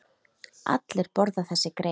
Allir borða þessi grey.